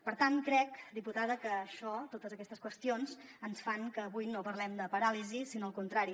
per tant crec diputada que això totes aquestes qüestions fan que avui no parlem de paràlisi sinó al contrari